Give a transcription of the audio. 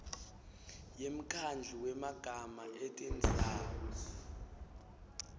yemkhandlu wemagama etindzawo